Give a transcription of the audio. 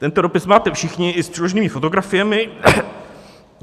Tento dopis máte všichni i s přiloženými fotografiemi.